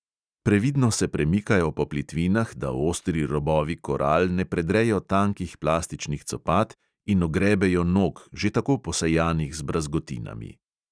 Previdno se premikajo po plitvinah, da ostri robovi koral ne predrejo tankih plastičnih copat in ogrebejo nog, že tako posejanih z brazgotinami.